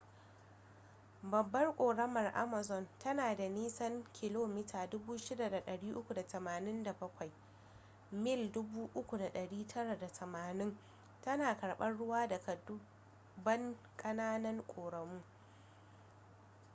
babbar ƙoramar amazon ta na da nisan 6,387 km 3,980 mil. tana karbar ruwa daga dubban kananan ƙoramu